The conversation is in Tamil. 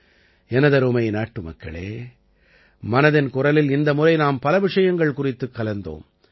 எனதருமை நாட்டுமக்களே மனதின் குரலில் இந்த முறை நாம் பல விஷயங்கள் குறித்துக் கலந்தோம்